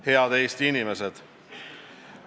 Head Eesti inimesed!